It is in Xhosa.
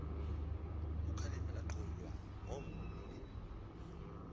ukhalipha lanxulwa ngomnye